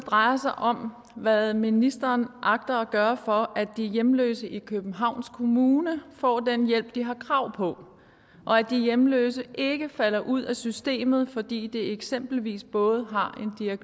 drejer sig om hvad ministeren agter at gøre for at de hjemløse i københavns kommune får den hjælp de har krav på og at de hjemløse ikke falder ud af systemet fordi de eksempelvis både har